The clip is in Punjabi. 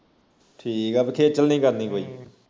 ਠੀਕ ਆ ਬਈ ਖੇਚਲ ਨੀ ਕਰਨੀ ਪੈਂਦੀ